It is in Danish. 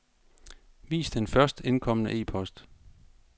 Vis den først indkomne e-post.